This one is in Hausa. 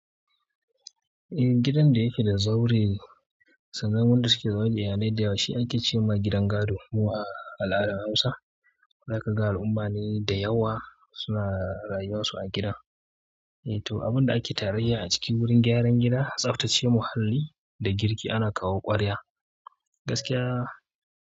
Eh, gidan da yake da zaure, sannan wanda suke zaune a yanayi da yawa shi ake ce ma gidan gado mu a al'adar Hausa. Zaka ga al'umma ne da yawa suna rayuwar su a gidan eh to, abunda ake tarayya a ciki wurin gyaran gida, tsaftace muhalli da girki ana kawo ƙwarya. Gaskiya.